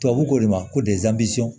Tubabu ko de ma ko